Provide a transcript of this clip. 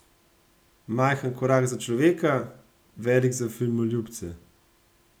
Majhen korak za človeka, velik za filmoljubce?